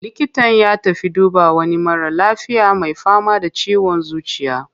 Likitan ya tafi duba wani mara lafiya mai fama da ciwon zuciya.